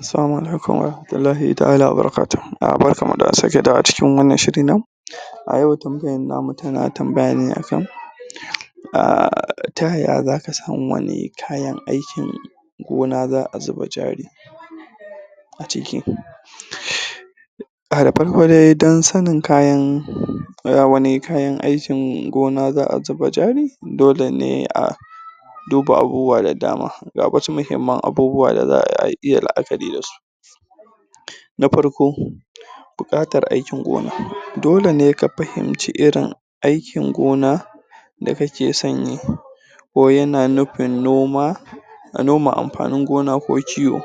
Assalamu alaikum wa rahmatullahi taʼala wa barakatuhu. Barkan mu da sake dawowa a cikin wannan shirin namu, a yau tambayan namu tana tambaya ne akan um Ta ya ya zaka Samu wani kayan aikin gona zaʼa zuba jari ciki? um Da farko dai don sanin kayan um wani kayan aikin gona zaʼa zuba Jari dole ne a duba abubuwa da dama Ga wasu muhimman abubuwa da zaʼa iya laʼakari dasu. Na farko, buƙatar aikin gona. Dole ne ka fahimci irin aikin da ka ke son yi ko yana nufin noma noma amfanin gona ko kiwo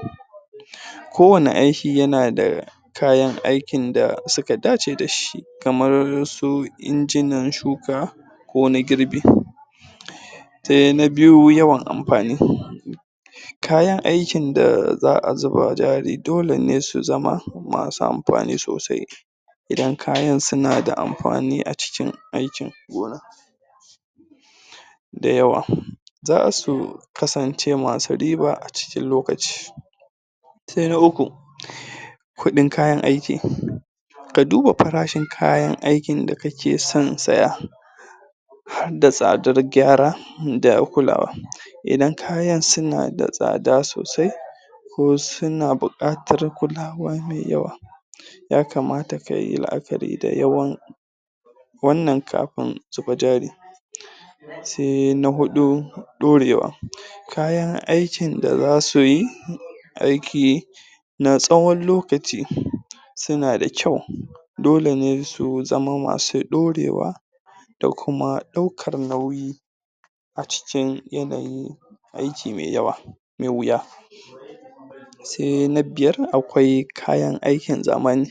ko wanne aiki yana da kayan aikin da suka dace da shi. kamar su injinan shuka, ko na girbi sai na biyu yawan amfani kayan aikin da zaʼa zuba jari dole ne su zama masu amfani sosai Idan kayan suna da amfani acikin aikin gona da yawa. Za su kasance masu riba a cikin lokaci, Sai na uku um Kudin kayan aikin, ka duba farashin kayan aikin da ka ke son siya harda tsadan gyara da kulawa. Idan kayan sunada tsada sosai, ko suna buƙatar kulawa me yawa ya kamata ka yi la'akari da yawan wannan kafin su bi jari. Sai na hudu, ɗorewa kayan aikin da za suyi aiki na tsawon lokaci su na da kyau. Dole ne su zama masu ɗorewa da kuma ɗaukar nauyi a cikin yanayi aiki mai yawa da wuya. Sai na biyar, akwai kayan aikin zamani.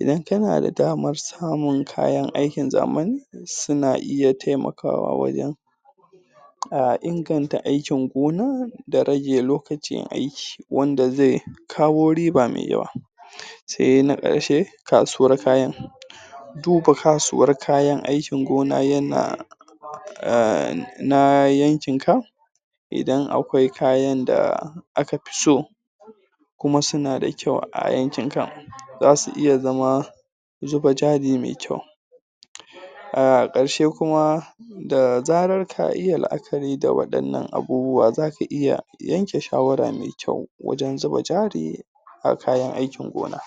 Idan ka na da damar samun kayan aikin zamani su na iya taimakawa wajen inganta aikin gonan da rage lokacin aiki wanda zai kawo riba mai yawa. Sai na ƙarshe kasuwar kayan. duba kasuwar kayan aikin gona yana um naa yankin ka idan akwai kayan da aka fi so, kuma suna kyau a yankin ka za su iya zama zuba jari mai kyau. A karshe kuma, da zarar ka iya la'akari da wadannan abubuwan zaka iya yanke shawara mai kyau wajen zuba jari a kayan aikin gona.